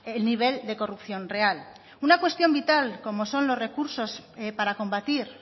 el nivel de corrupción real una cuestión vital como son los recursos para combatir